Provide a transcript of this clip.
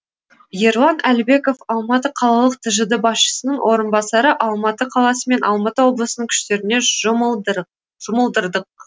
ерлан әлібеков алматы қалалық тжд басшысының орынбасары алматы қаласы мен алматы облысының күштеріне жұмылдырдық